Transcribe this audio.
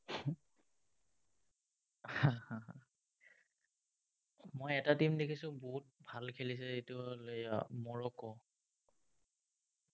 মই এটা team দেখিছো, বহুত ভাল খেলিছে। সেইটো হ'ল এৰ মৰক্কো।